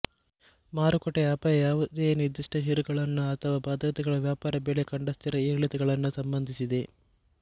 ಮಾರುಕಟ್ಟೆ ಅಪಾಯ ಯಾವುದೇ ನಿರ್ದಿಷ್ಟ ಷೇರುಗಳನ್ನು ಅಥವಾ ಭದ್ರತೆಗಳ ವ್ಯಾಪಾರ ಬೆಲೆ ಕಂಡ ಸ್ಥಿರ ಏರಿಳಿತಗಳನ್ನು ಸಂಬಂಧಿಸಿದೆ